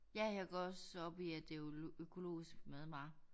Ja jeg går også op i at det økologisk madvarer